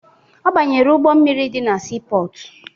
Ọ banyere ụgbọ mmiri dị na siipọọtụ